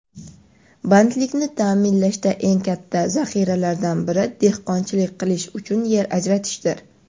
bandlikni ta’minlashda eng katta zaxiralardan biri dehqonchilik qilish uchun yer ajratishdir.